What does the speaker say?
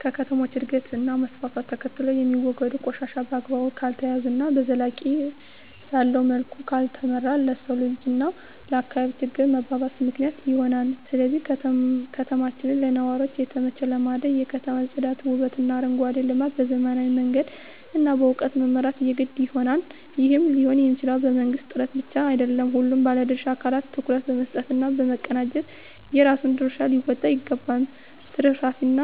ከከተሞች እድገት እና መስፍፍት ተከትሎየሚወገዱ ቆሻሻ በአግባቡ ካልተያዘ እና ዘላቂነት ባለዉ መልኩ ካልተመራ ለሰዉ ልጅ እና ለአካባቢ ችግር መባባስ ምክንያት ይሆናል ስለዚህ ከተማችን ለነዋሪዎች የተመቸ ለማድረግ የከተማ ፅዳት ዉበትእና አረንጓዴ ልማት በዘመናዊ መንገድ እና በእዉቀት መምራት የግድ ይሆናል ይህም ሊሆንየሚችለዉ በመንግስት ጥረት ብቻ አይደለም ሁሉም ባለድርሻ አካላት ትኩረት በመስጠት እና በመቀናጀት የራሱን ድርሻ ሊወጣ ይገባል ትርፍራፊንእና